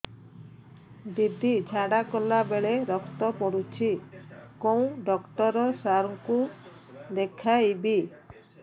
ଦିଦି ଝାଡ଼ା କଲା ବେଳେ ରକ୍ତ ପଡୁଛି କଉଁ ଡକ୍ଟର ସାର କୁ ଦଖାଇବି